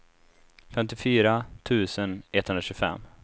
femtiofyra tusen etthundratjugofem